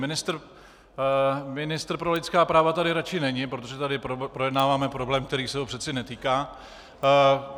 Ministr pro lidská práva tady radši není, protože tady projednáváme problém, který se ho přeci netýká.